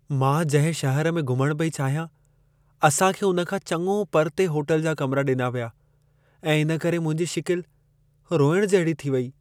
मां जंहिं शहर में घुमण पेई चाहियां, असां खे उन खां चङो परिते होटल जा कमिरा ॾिना विया ऐं इन करे मुंहिंजी शिकिल रोइण जहिड़ी थी वेई।